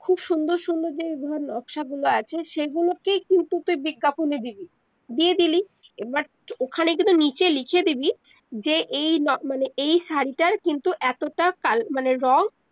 খুব সুন্দর সুন্দর যেগুলো নক্সাগুলো আছে সেগুলোকেই কিন্তু তুই বিজ্ঞাপনে দিবি দিয়ে দিলি এবার ওখানে কিন্তু নিচে লিখে দিবি যে এই মানে এই শাড়িটার কিন্তু এতটা মানে রং